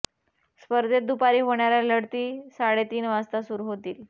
स्पर्धेत दुपारी होणाऱ्या लढती साडे तीन वाजता सुरू होतील